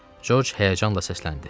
Corc həyəcanla səsləndi.